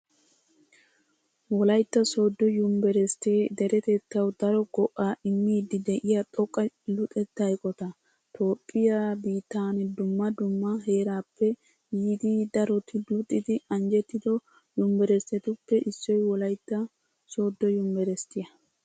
Wolaytta Sooddo yuniverisiittee deretettawu daro go"aa immiiddi de'iya xoqqa luxetta eqota. Toophphiyaa biittan dumma dumma heerappe yiidi daroti luxidi anjjettido univeristtetuppe issoy Wolaytta Sooddo yuniverisiittiyaa.